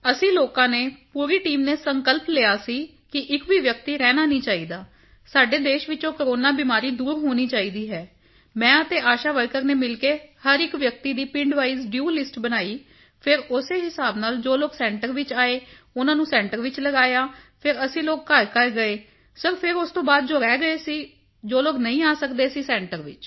ਅਸੀਂ ਲੋਕਾਂ ਨੇ ਪੂਰੀ ਟੀਮ ਨੇ ਸੰਕਲਪ ਲਿਆ ਸੀ ਕਿ ਇੱਕ ਵੀ ਵਿਅਕਤੀ ਰਹਿਣਾ ਨਹੀਂ ਚਾਹੀਦਾ ਸਾਡੇ ਦੇਸ਼ ਵਿੱਚੋਂ ਕੋਰੋਨਾ ਬਿਮਾਰੀ ਦੂਰ ਹੋਣੀ ਚਾਹੀਦੀ ਹੈ ਮੈਂ ਅਤੇ ਆਸ਼ਾ ਵਰਕਰ ਨੇ ਮਿਲ ਕੇ ਹਰ ਇੱਕ ਵਿਅਕਤੀ ਦੀ ਪਿੰਡ ਵਾਈਜ਼ ਡੂ ਲਿਸਟ ਬਣਾਈ ਫਿਰ ਉਸੇ ਹਿਸਾਬ ਨਾਲ ਜੋ ਲੋਕ ਸੈਂਟਰ ਵਿੱਚ ਆਏ ਉਨ੍ਹਾਂ ਨੂੰ ਸੈਂਟਰ ਵਿੱਚ ਲਗਾਇਆ ਫਿਰ ਅਸੀਂ ਲੋਕ ਘਰਘਰ ਗਏ ਹਾਂ ਸਿਰ ਫਿਰ ਉਸ ਤੋਂ ਬਾਅਦ ਜੋ ਰਹਿ ਗਏ ਸਨ ਜੋ ਲੋਕ ਨਹੀਂ ਆ ਸਕਦੇ ਸੈਂਟਰ ਵਿੱਚ